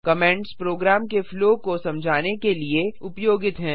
comments program के flow को समझाने के लिए उपयोगित हैं